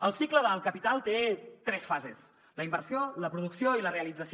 el cicle del capital té tres fases la inversió la producció i la realització